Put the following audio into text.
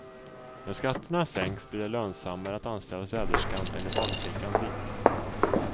När skatterna sänks blir det lönsammare att anställa städerskan eller barnflickan vitt.